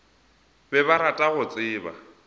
be ba rata go tseba